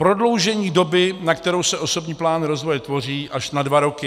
Prodloužení doby, na kterou se osobní plán rozvoje tvoří, až na dva roky.